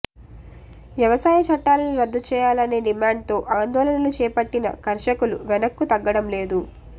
వ్యవసాయ చట్టాలను రద్దుచేయాలనే డిమాండ్తో ఆందోళనలు చేపట్టిన కర్షకులు వెనక్కు తగ్గడంలేదు